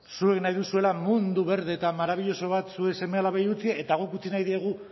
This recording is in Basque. zuek nahi duzuela mundu berde eta maravilloso bat zuen seme alabei utzi eta guk utzi nahi diegu